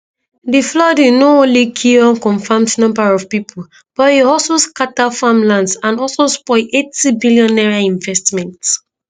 di flooding no only kill unconfirmed number of pipo but e also scata farmlands and also spoil 80 billion naira investment